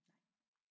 Nej